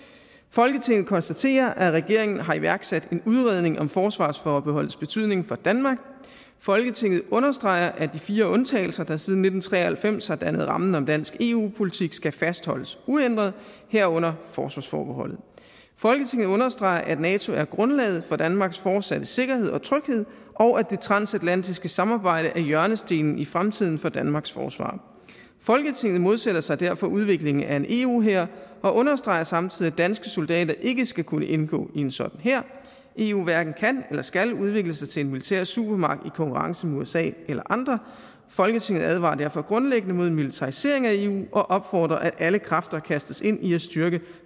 folketinget konstaterer at regeringen har iværksat en udredning om forsvarsforbeholdets betydning for danmark folketinget understreger at de fire undtagelser der siden nitten tre og halvfems har dannet rammen om dansk eu politik skal fastholdes uændrede herunder forsvarsforbeholdet folketinget understreger at nato er grundlaget for danmarks fortsatte sikkerhed og tryghed og at det transatlantiske samarbejde er hjørnestenen i fremtiden for danmarks forsvar folketinget modsætter sig derfor udviklingen af en eu hær og understreger samtidig at danske soldater ikke skal kunne indgå i en sådan hær eu hverken kan eller skal udvikle sig til en militær supermagt i konkurrence med usa eller andre folketinget advarer derfor grundlæggende mod en militarisering af eu og opfordrer til at alle kræfter kastes ind i at styrke